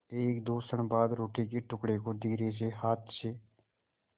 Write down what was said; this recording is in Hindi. एकदो क्षण बाद रोटी के टुकड़े को धीरेसे हाथ से